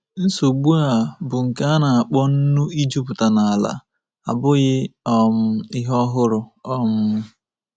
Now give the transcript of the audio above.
Nsogbu a, bụ́ nke a na-akpọ nnu ijupụta n’ala, abụghị um ihe ọhụrụ. um